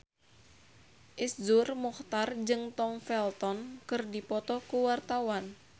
Iszur Muchtar jeung Tom Felton keur dipoto ku wartawan